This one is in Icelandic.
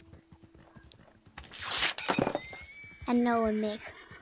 En nóg um mig.